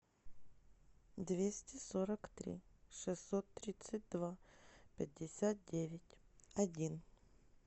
двести сорок три шестьсот тридцать два пятьдесят девять один